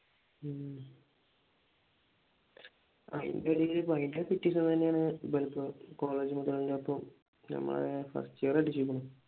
അതിന്റെ ഇടയിൽ ഭയങ്കര തന്നെയാണ് നമ്മളിപ്പോ കോളേജ് മുഴുവൻ ഇപ്പൊ ഞമ്മളെ first year അടിച്ചേക്കാണു